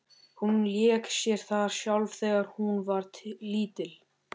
Hún lék sér þar sjálf þegar hún var lítil.